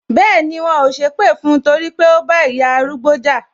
Bẹẹni, wọn ò sépè fún torí pé ó bá ìyá arúgbó jà